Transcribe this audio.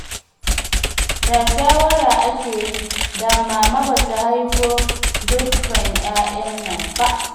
Da shawara ake yi, da Mama ba ta haifo dukka yaran nan ba